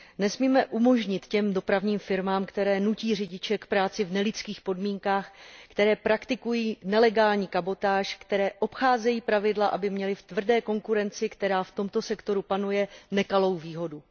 Nesmíme umožnit těm dopravním firmám, které nutí řidiče k práci v nelidských podmínkách, které praktikují nelegální kabotáž, které obcházejí pravidla, aby měly v tvrdé konkurenci, která v tomto sektoru panuje, nekalou výhodu.